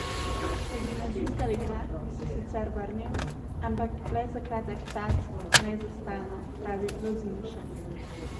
V gimnazijska leta bi se sicer vrnil, ampak le za kratek čas, ne za stalno, pravi Lozinšek.